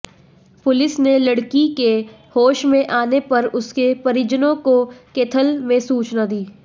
police ने लड़की के होश में आने पर उसके परिजनों को कैथल में सूचना दी